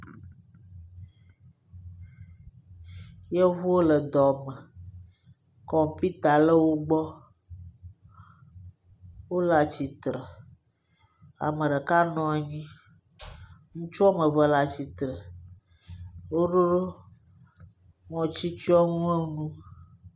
Yevuwo le dɔme. Kɔmpita le wògbɔ. Wòle atsitre. Ame ɖeka nɔ anyi. Ŋutsu woame eve le atsitre. Wo ɖo ŋɔti tsyɔnu enu.